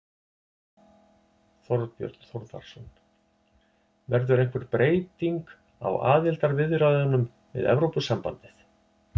Þorbjörn Þórðarson: Verður einhver breyting á aðildarviðræðunum við Evrópusambandið?